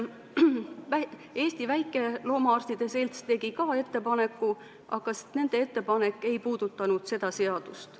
Eesti Väikeloomaarstide Selts tegi ka ettepaneku, aga nende ettepanek ei puudutanud seda seadust.